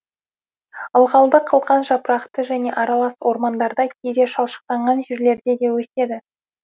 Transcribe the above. ылғалды қылқан жапырақты және аралас ормандарда кейде шалшықтанған жерлерде де өседі